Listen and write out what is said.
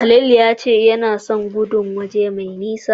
Khalil ya ce yana son gudun waje mai nisa.